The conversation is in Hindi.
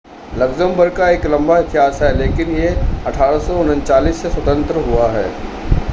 लक्समबर्ग का एक लंबा इतिहास है लेकिन यह 1839 से स्वतंत्र हुआ है